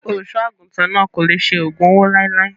Olùṣọ́ àgùntàn náà kò lè ṣe ògùn owó láéláé.